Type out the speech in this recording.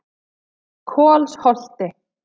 Kolsholti